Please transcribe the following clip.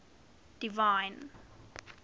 divine